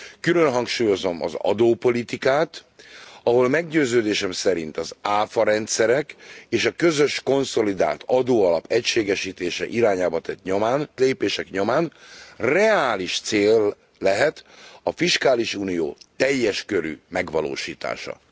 Külön hangsúlyozom az adópolitikát, ahol meggyőződésem szerint az ÁFA rendszerek, és a közös konszolidált adóalap egységesítése irányába tett lépések nyomán reális cél lehet a fiskális unió teljeskörű megvalósítása.